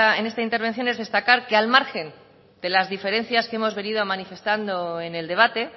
en esta intervención destacar que al margen de las diferencias que hemos venido manifestando en el debate